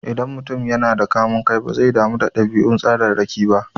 Idan mutum yana da kamun kai, bazai damu da ɗabi'un tsararraki ba.